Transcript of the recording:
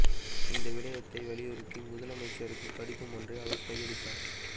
இந்த விடயத்தை வலியுறுத்தி முதலமைச்சருக்கு கடிதம் ஒன்றையும் அவர் கையளித்தார்